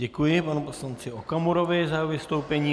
Děkuji panu poslanci Okamurovi za jeho vystoupení.